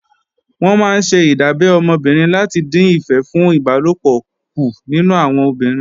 Wọ́n máa ńṣe ìdábẹ́ ọmọ obìnrin láti dín ìfẹ́ fún ìbálòpọ̀ kù nínú àwọn obìnrin